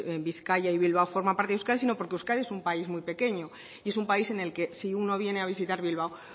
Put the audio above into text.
bizkaia y bilbao forma parte de euskadi sino porque euskadi es un país muy pequeño y es un país en el que si uno viene a visitar bilbao